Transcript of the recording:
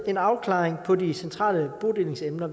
en afklaring på de centrale bodelingsemner